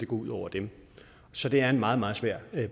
går ud over dem så det er en meget meget svær